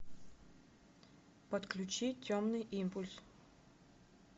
подключи темный импульс